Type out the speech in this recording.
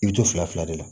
I bɛ to fila fila de la